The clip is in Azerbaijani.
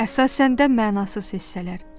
Əsasən də mənasız hissələr.